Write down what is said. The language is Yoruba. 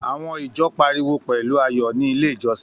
Àwọn ìjọ pariwo pẹ̀lú ayọ̀ ní Ilé-ìjọsìn.